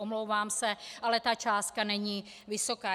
Omlouvám se, ale ta částka není vysoká.